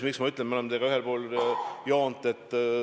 Miks ma ütlen, et me oleme teiega ühel pool joont?